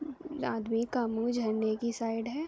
जो आदमी का मुंह झरने की साइड है।